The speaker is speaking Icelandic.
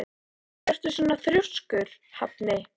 Af hverju ertu svona þrjóskur, Hafni?